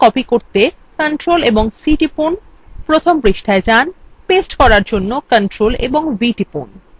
তাই copy করতে ctrl ও c টিপুন প্রথম পৃষ্ঠায় যান paste করার জন্য ctrl ও v টিপুন